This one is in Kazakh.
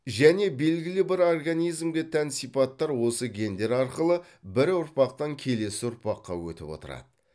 және белгілі бір организмге тән сипаттар осы гендер арқылы бір ұрпақтан келесі ұрпаққа өтіп отырады